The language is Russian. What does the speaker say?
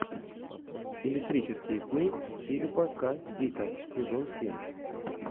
электрические сны филипа к дика сезон семь